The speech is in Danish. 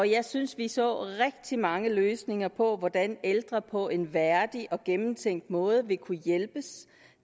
jeg synes vi så rigtig mange løsninger på hvordan ældre på en værdig og gennemtænkt måde vil kunne hjælpes